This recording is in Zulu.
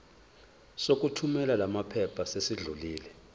sokuthumela lamaphepha sesidlulile